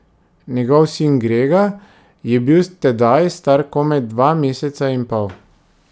Njegov sin Grega je bil tedaj star komaj dva meseca in pol.